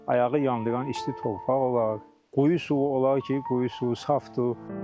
Ayağı yandıran isti torpaq olar, quyu suyu olar ki, quyu suyu saftır.